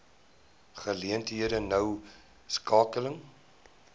geleenthede noue skakeling